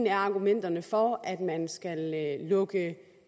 af argumenterne for at man skal lukke